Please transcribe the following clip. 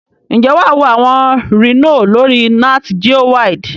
Njé wà wo àwon Rhino lórí NatGeowild